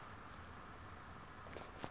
e e laotsweng ya go